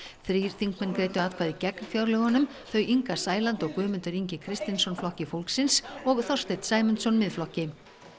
þrír þingmenn greiddu atkvæði gegn fjárlögunum þau Inga Sæland og Guðmundur Ingi Kristinsson Flokki fólksins og Þorsteinn Sæmundsson Miðflokki